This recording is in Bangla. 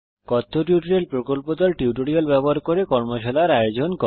কথ্য টিউটোরিয়াল প্রকল্প দল কথ্য টিউটোরিয়াল ব্যবহার করে কর্মশালার আয়োজন করে